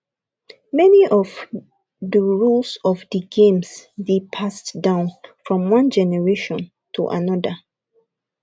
many of do rules of di games dey passed down from one gemeration to anoda